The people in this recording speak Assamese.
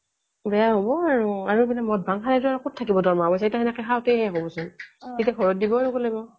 বেয়া হ'ব আৰু আৰু যদি মদ ভাং খাই আৰু ক'ত থাকিব দৰমহা পইচা সেইটো হেনেকে খাওঁতেই শেষ হ'বচোন তেতিয়া ঘৰত দিবই নুকুলিব